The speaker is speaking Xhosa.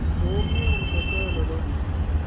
omnye umzekelo lo